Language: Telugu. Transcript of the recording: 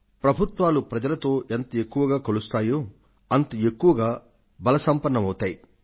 ప్రభుత్వాలు ప్రజలతో ఎంత ఎక్కువగా కలుస్తాయో అంత ఎక్కువగా బల సంపన్నం అవుతాయి